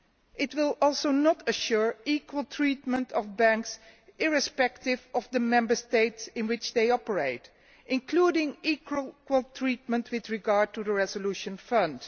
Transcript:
It will also not assure equal treatment of banks, irrespective of the Member States in which they operate, including equal treatment with regard to the Resolution Fund.